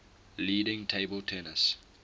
leading table tennis